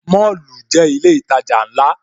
Mọ́lù jẹ́ ilé ìtajà ńlá